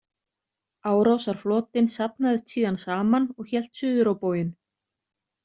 Árásarflotinn safnaðist síðan saman og hélt suður á bóginn.